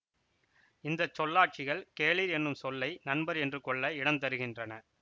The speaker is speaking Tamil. இந்த சொல்லாட்சிகள் கேளிர் என்னும் சொல்லை நண்பர் என்று கொள்ள இடம் தருகின்றன